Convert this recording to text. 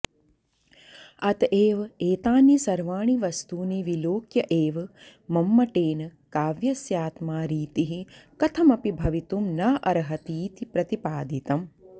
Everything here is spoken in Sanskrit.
अत एवैतानि सर्वाणि वस्तूनि विलोक्यैव मम्मटेन काव्यस्यात्मा रीतिः कथमपि भवितुं नार्हतीति प्रतिपादितम्